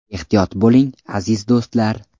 Ehtiyot bo‘ling, aziz do‘stlar!